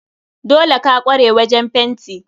Dole ka kware wajen fenti?